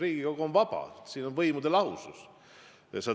Riigikogu on vaba, siin on võimude lahusus.